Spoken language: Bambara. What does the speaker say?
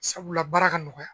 Sabula baara ka nɔgɔya